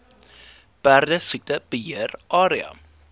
perdesiekte beheer area